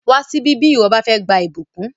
Wá síbí bí ìwọ bá fẹ́ gba ìbùkún!